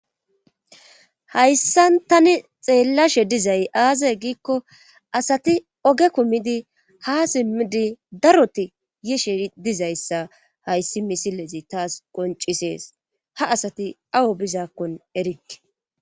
hayssan tani xeellashe dizay aaze giikko asati oge kumidi ha simmidi daroti yishe dizayssa hayssi misilezi taas qoncisees ha asati awo bizaakkon erikke